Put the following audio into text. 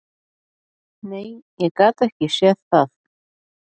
Nei, ég gat ekki séð það.